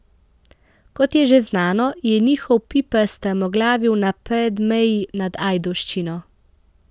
Kot je že znano, je njihov piper strmoglavil na Predmeji nad Ajdovščino.